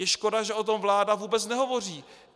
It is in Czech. Je škoda, že o tom vláda vůbec nehovoří.